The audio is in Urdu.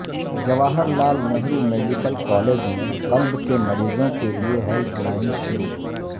جواہرلعل نہرو میڈیکل کالج میں قلب کے مریضوں کے لیے ہیلپ لائن شروع